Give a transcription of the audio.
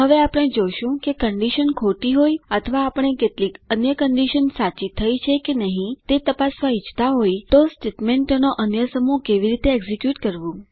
હવે આપણે જોશું કે કન્ડીશન ખોટી હોય અથવા આપણે કેટલીક અન્ય કન્ડીશન સાચી થઇ છે કે નહી તે તપાસવા ઇચ્છતા હોય તો સ્ટેટમેન્ટોનો અન્ય સમૂહ કેવી રીતે એક્ઝીક્યુટ કરવું